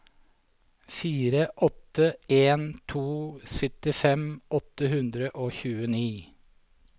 fire åtte en to syttifem åtte hundre og tjueni